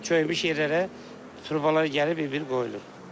Çökmüş yerlərə turbalar gəlib bir-bir qoyulur.